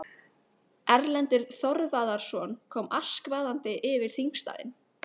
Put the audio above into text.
Erlendur Þorvarðarson kom askvaðandi yfir þingstaðinn.